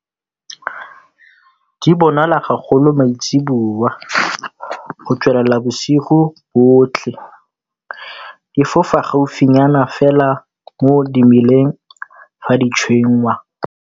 Di bonala gagolo maitseboa go tswelela bosigo botlhe. Di fofa gaufinyana fela mo dimeleng fa di tshwengwa.